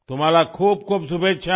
आपको बहुतबहुत शुभकामनाएं